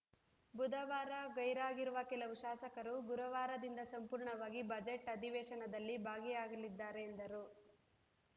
ಬುಧವಾರ ಗೈರಾಗಿರುವ ಕೆಲವು ಶಾಸಕರು ಗುರುವಾರದಿಂದ ಸಂಪೂರ್ಣವಾಗಿ ಬಜೆಟ್‌ ಅಧಿವೇಶನದಲ್ಲಿ ಭಾಗಿಯಾಗಲಿದ್ದಾರೆ ಎಂದರು